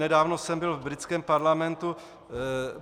Nedávno jsem byl v britském parlamentu.